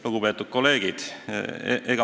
Lugupeetud kolleegid!